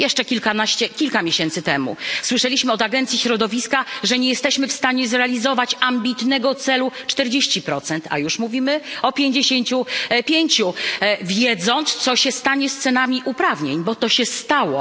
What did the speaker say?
Jeszcze kilkanaście, kilka miesięcy temu słyszeliśmy od Agencji Środowiska, że nie jesteśmy w stanie zrealizować ambitnego celu 40 a już mówimy o 55, wiedząc, co się stanie z cenami uprawnień, bo to się stało.